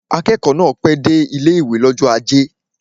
Akẹ́kọ̀ọ́ náà pẹ́ dé ilé-ìwé l'ọ́jọ́ ajé